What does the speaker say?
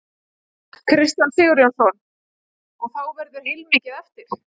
Kristján Sigurjónsson: Og þá verður heilmikið eftir?